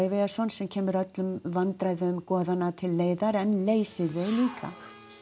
sem kemur öllum vandræðum goðanna til leiðar en leysir þau líka